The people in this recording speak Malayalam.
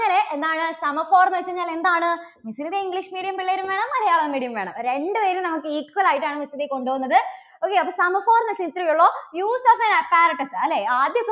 എന്താണ് semaphore എന്ന് വെച്ചു കഴിഞ്ഞാൽ എന്താണ്? miss ന് ദേ English Medium പിള്ളേരും വേണം മലയാളം medium വേണം. രണ്ടുപേരും നമുക്ക് equal ആയിട്ടാണ് miss ദേ കൊണ്ടുപോകുന്നത് okay അപ്പോൾ semaphore എന്നുവച്ചാൽ ഇത്രയേ ഉള്ളൂ. use of an apparatus അല്ലേ? ആദ്യ